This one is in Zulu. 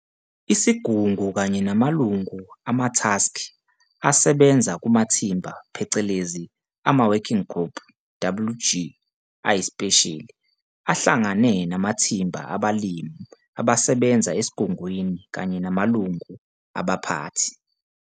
Isigungu kanye namalungu amathaskhi asebenza kumathimba phecelezi ama-Working Group, WG, ayisipesheli, ahlangane namathimba abalimi abasebenza eSigungwini kanye namalungu abaphathi.